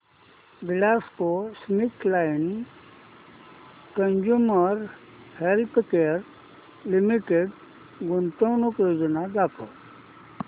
GlaxoSmithKline consumer healthcare limited गुंतवणूक योजना दाखव